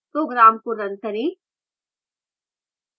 program को run करें